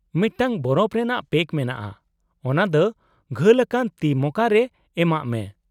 -ᱢᱤᱫᱴᱟᱝ ᱵᱚᱨᱚᱯᱷ ᱨᱮᱱᱟᱜ ᱯᱮᱠ ᱢᱮᱱᱟᱜᱼᱟ , ᱚᱱᱟ ᱫᱚ ᱜᱷᱟᱹᱞ ᱟᱠᱟᱱ ᱛᱤ ᱢᱚᱠᱟ ᱨᱮ ᱮᱢᱟᱜ ᱢᱮ ᱾